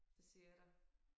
Det siger jeg dig